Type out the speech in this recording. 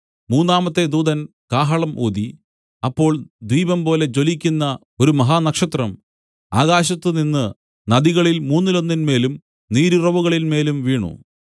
മൂന്നാമത്തെ ദൂതൻ കാഹളം ഊതി അപ്പോൾ ദീപംപോലെ ജ്വലിക്കുന്ന ഒരു മഹാനക്ഷത്രം ആകാശത്തുനിന്ന് നദികളിൽ മൂന്നിലൊന്നിന്മേലും നീരുറവുകളിന്മേലും വീണു